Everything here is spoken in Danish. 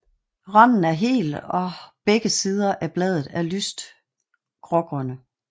Randen er hel og begge sider af bladet er lyst grågrønne